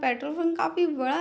petrol pump काफी बड़ा --